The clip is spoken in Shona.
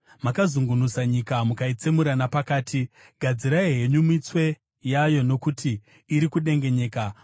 Makazungunusa nyika mukaitsemura napakati; gadzirai henyu mitswe yayo, nokuti iri kudengenyeka.